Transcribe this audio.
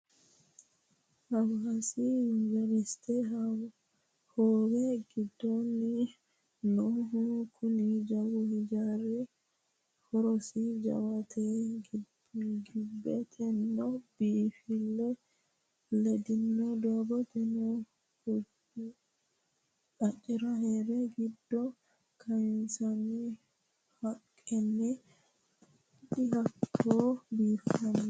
Hawaasi yunveriste hoowe giddoni noohu kuni jawu hijaari horosi jawate gibbeteno biifile ledino doogote qaccera heere giddo kayinsonni haqqeno dihatto biifino.